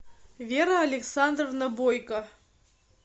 вера александровна бойко